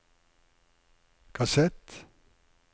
kassett